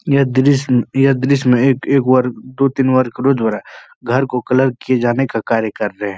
यह दृश्य यह दृश्य में एक बार दो तीन बार हो रहा है। घर को कलर किये जाने का कार्य कर रहे हैं।